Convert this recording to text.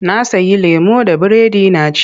Na sayi lemo da biredi na ci.